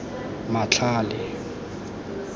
matlhale